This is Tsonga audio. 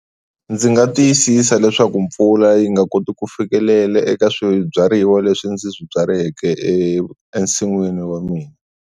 Ndzi nga tiyisisa leswaku mpfula yi nga koti ku fikelela eka swibyariwa leswi ndzi swi byaleke e ensinwini wa mina.